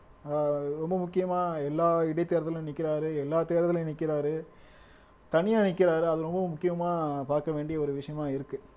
ஆஹ் ரொம்ப முக்கியமா எல்லா இடைத்தேர்தல்லையும் நிக்கறாரு எல்லா தேர்தலிலும் நிக்கறாரு தனியா நிக்கறாரு அது ரொம்பவும் முக்கியமா பாக்க வேண்டிய ஒரு விஷயமா இருக்கு